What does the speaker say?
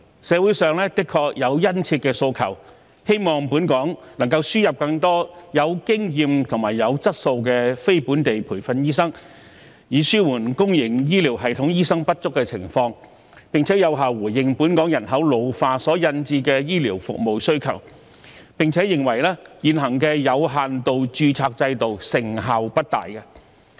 社會上的確有殷切的訴求，希望本港能夠輸入更多具經驗和具質素的非本地培訓醫生，以紓緩公營醫療系統醫生不足的情況，並有效應付本港人口老化所引致的醫療服務需求；而且，社會認為現行的有限度註冊制度成效不大。